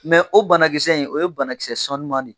Mɛ o banakisɛ in, o ye banakisɛ sanuman ye.